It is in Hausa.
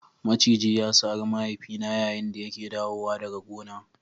Maciji ya sare mahaifina yayin da yake dawowa daga gona.